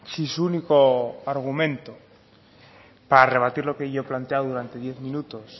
si su único argumento para rebatir lo que yo he planteado durante diez minutos